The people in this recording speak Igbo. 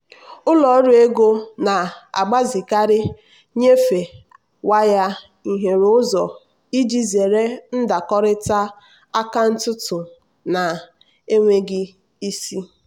ụlọ ọrụ ego na-agbazikarị nnyefe waya hiere ụzọ iji zere ndakọrịta akaụntụ na-enweghị isi.